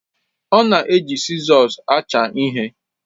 Ọ na-eji sizọs acha ihe